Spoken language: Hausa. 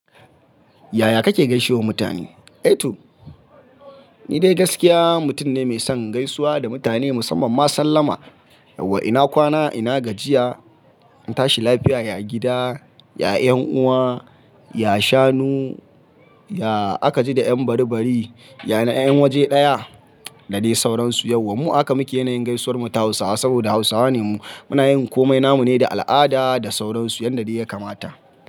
Yaya kake gaishewa mutane? Eh to, ni dai gaskiya mutum ne mai son gaisuwa da mutane musamman ma sallama. Yawwa ina kwana, ina gajiya, an tashi lafiya, ya gida, ya 'yan uwa, ya shanu, ya aka ji da 'yan bari bari, ya na 'yan waje ɗaya, da dai sauransu yawwa mu. Mu a haka muke yanayin gaisuwar mu ta Hausawa saboda Hausawa ne mu. Muna yin komai namu ne da al'ada da sauransu yanda dai ya kamata.